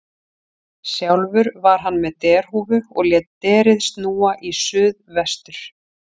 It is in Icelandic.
Sjálfur var hann með derhúfu og lét derið snúa í suð vestur.